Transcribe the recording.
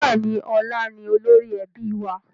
Bẹ́ẹ̀ni, ọlá ni olórí ẹbí wa